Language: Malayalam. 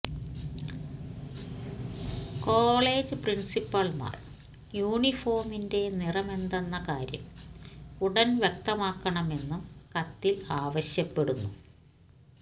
കോളജ് പ്രിൻസിപ്പൾമാർ യൂണിഫോമിന്റെ നിറമെന്തെന്ന കാര്യം ഉടൻ വ്യക്തമാക്കണമെന്നും കത്തിൽ ആവശ്വപ്പെടുന്നു